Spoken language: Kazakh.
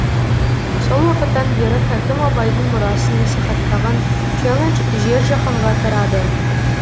сол уақыттан бері хакім абайдың мұрасын насихаттаған челлендж жер жаһанға тарады